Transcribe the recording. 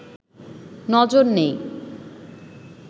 নজর নেই